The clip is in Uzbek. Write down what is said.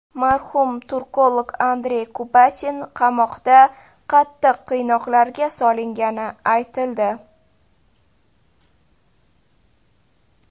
Marhum turkolog Andrey Kubatin qamoqda qattiq qiynoqlarga solingani aytildi.